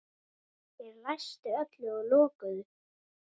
Þeir læstu öllu og lokuðu.